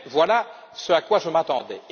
Bref, voilà ce à quoi je m'attendais.